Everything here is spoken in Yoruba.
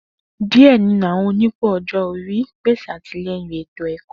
Diẹ ninu awọn onipò ọjọ ori pese atilẹyin eto-ẹkọ.